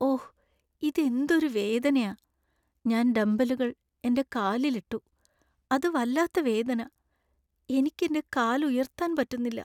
ഓ! ഇത് എന്തൊരു വേദനയാ. ഞാൻ ഡംബെല്ലുകൾ എന്‍റെ കാലിൽ ഇട്ടു , അത് വല്ലാത്ത വേദന. എനിക്ക് എന്‍റെ കാൽ ഉയർത്താൻ പറ്റുന്നില്ല .